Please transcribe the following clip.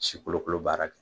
sikolokolo baara kɛ.